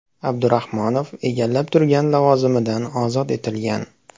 Abdurahmonov egallab turgan lavozimidan ozod etilgan.